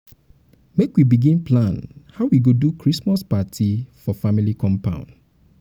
make we begin plan how we go do christmas party party for family compound.